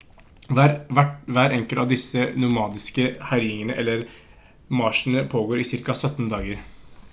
hver enkelt av disse nomadiske herjingene eller marsjene pågår i ca 17 dager